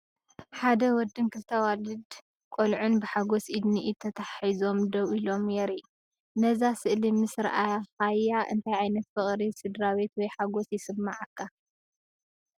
ሓደ ወድን ክልተ ኣዋልድ ቆልዑን ብሓጎስ ኢድ ንኢድ ተተሓሒዞም ደው ኢሎም የርኢ። ነዛ ስእሊ ምስ ረኣኻያ እንታይ ዓይነት ፍቕሪ ስድራቤት ወይ ሓጎስ ይስምዓካ?